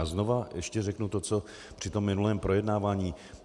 A znova ještě řeknu to co i při minulém projednávání.